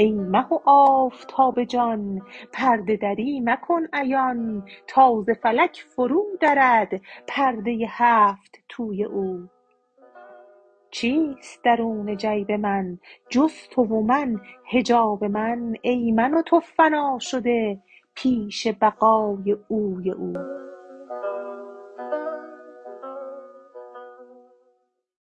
ای مه و آفتاب جان پرده دری مکن عیان تا ز فلک فرودرد پرده ی هفت توی او چیست درون جیب من جز تو و من حجاب من ای من و تو فنا شده پیش بقای اوی او